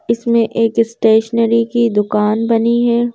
इसमें एक स्टेशनरी दुकान बनी है।